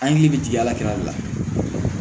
An hakili bɛ jigin a la la